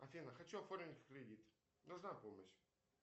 афина хочу оформить кредит нужна помощь